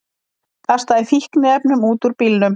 Kastaði fíkniefnum út úr bílnum